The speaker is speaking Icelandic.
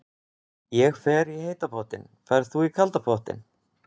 Ég fer í heita pottinn. Ferð þú í kalda pottinn?